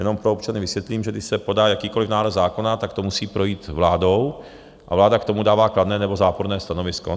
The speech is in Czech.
Jenom pro občany vysvětlím, že když se podá jakýkoliv návrh zákona, tak to musí projít vládou a vláda k tomu dává kladné nebo záporné stanovisko.